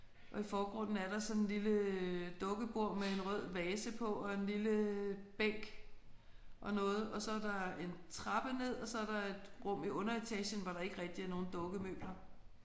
Og i forgrunden er der sådan en lille dukkebord med en rød vase på og en lille bænk og noget og så er der en trappe ned og så er der et rum i underetagen hvor der ikke rigtig er nogen dukkemøbler